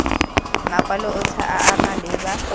makwalo otlhe a a malebana